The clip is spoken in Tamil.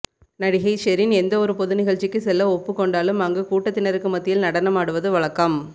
நடிகை ஷெரின் எந்த ஒரு பொது நிகழ்ச்சிக்கு செல்ல ஒப்புக் கொண்டாலும் அங்கு கூட்டத்தினருக்கு மத்தியில் நடனம் ஆடுவது வழக்கம்